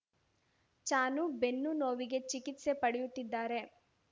ಚಾನು ಬೆನ್ನು ನೋವಿಗೆ ಚಿಕಿತ್ಸೆ ಪಡೆಯುತ್ತಿದ್ದಾರೆ